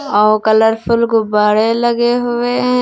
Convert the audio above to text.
और कलरफुल गुब्बारे लगे हुए है।